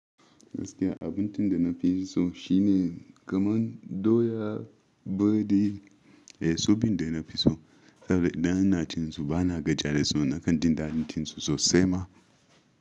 Gaskiya abun tinda nafi so shine kaman doya biredi. Eh, sobin da nafi so har da ina cin su bana gajiya da su nakan dinga cin su sosai ma.